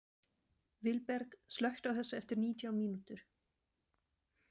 Vilberg, slökktu á þessu eftir nítján mínútur.